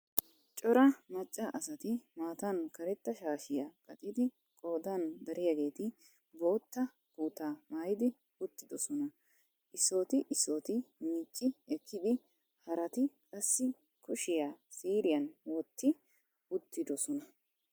Cora macca asati maatan karetta shaashiyaa qaccidi qoodan dariyaageeti bootta kutaa maayidi uttidisona. issooti issooti miici ekiidi haraati qassi kushshiyaa siiriyan wotti uttudosona.